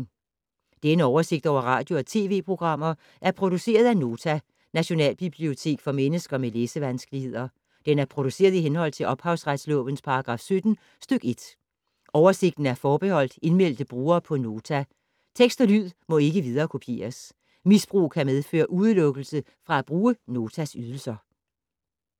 Denne oversigt over radio og TV-programmer er produceret af Nota, Nationalbibliotek for mennesker med læsevanskeligheder. Den er produceret i henhold til ophavsretslovens paragraf 17 stk. 1. Oversigten er forbeholdt indmeldte brugere på Nota. Tekst og lyd må ikke viderekopieres. Misbrug kan medføre udelukkelse fra at bruge Notas ydelser.